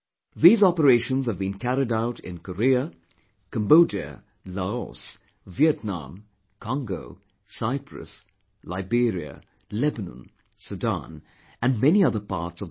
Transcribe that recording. These operations have been carried out in Korea, Cambodia, Laos, Vietnam, Congo, Cyprus, Liberia, Lebanon, Sudan and many other parts of the world